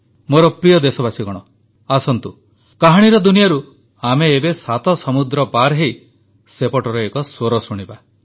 ମୋର ପ୍ରିୟ ଦେଶବାସୀଗଣ ଆସନ୍ତୁ କାହାଣୀର ଦୁନିଆରୁ ଆମେ ଏବେ ସାତ ସମୁଦ୍ର ପାରହୋଇ ସେପଟର ଏକ ସ୍ୱର ଶୁଣିବା